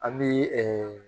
An bi